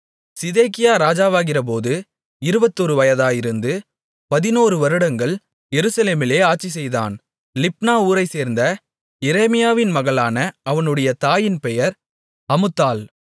சிதேக்கியா ராஜாவாகிறபோது இருபத்தொரு வயதாயிருந்து பதினோருவருடங்கள் எருசலேமிலே ஆட்சிசெய்தான் லிப்னா ஊரைச்சேர்ந்த எரேமியாவின் மகளான அவனுடைய தாயின் பெயர் அமுத்தாள்